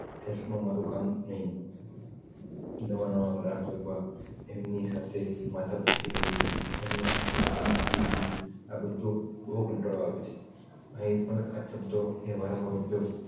cells માં મારૂ કામ ણય નવાં-નવાં ગ્રાહકો શોધવા એમની સાથે મથપચ્ચી કરવી એમેને આપણી products વેચવી આ બધુ બોવ કંટાળો આવે છે અહી પણ આ શબ્દો એ વારંવાર ઉપયોગ